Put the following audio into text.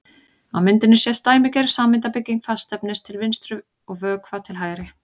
Á myndinni sést dæmigerð sameindabygging fastefnis til vinstri og vökva til hægri.